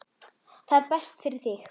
Það er best fyrir þig.